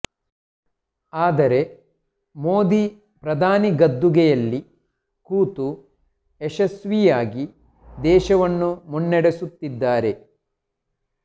ಆದರೆ ಮೋದಿ ಪ್ರಧಾನಿ ಗದ್ದುಗೆಯಲ್ಲಿ ಕೂತು ಯಶಸ್ವಿಯಾಗಿ ದೇಶವನ್ನು ಮುನ್ನಡೆಸುತ್ತಿದ್ದಾರೆ